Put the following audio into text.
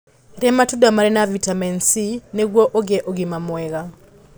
Rĩa matunda marĩ na vitamini c nĩgũo ũgĩe ũgima mwega